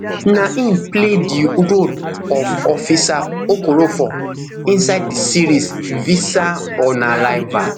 na im play di role ofofficer okorofor inside di series visa on arrival